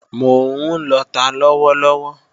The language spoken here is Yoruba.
Mò ń lọta lọ́wọ́ lọ́wọ́